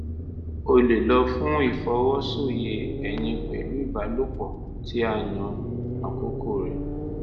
o lè lọ fún ìfọwọ́soyè ẹyin pẹ̀lú ìbálòpọ̀ tí a yàn àkókò rẹ̀